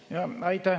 Aitäh!